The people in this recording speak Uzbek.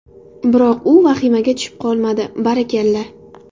Biroq u vahimaga tushib qolmadi, barakalla.